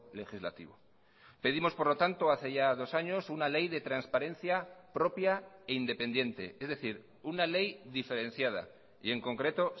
legislativo pedimos por lo tanto hace ya dos años una ley de transparencia propia e independiente es decir una ley diferenciada y en concreto